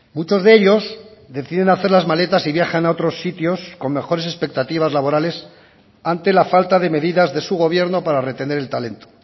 muchos de ellos deciden hacer las maletas y viajan a otros sitios con mejores expectativas laborales ante la falta de medidas de su gobierno para retener el talento